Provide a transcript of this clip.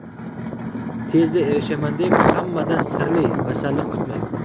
tezda erishaman deb hammadan sirli masalliq kutmang.